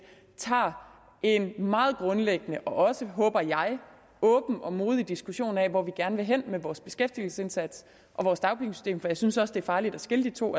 tager en meget grundlæggende og også håber jeg åben og modig diskussion af hvor vi gerne vil hen med vores beskæftigelsesindsats og vores dagpengesystem for jeg synes også det er farligt at skille de to